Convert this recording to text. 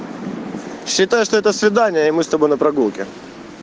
считаю что это свидание и мы с тобой на прогулке